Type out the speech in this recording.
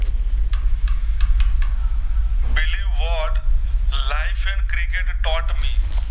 Believe what life and cricket tot me